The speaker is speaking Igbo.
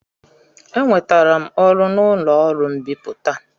Enwetara m ọrụ n'ụlọ ọrụ mbipụta.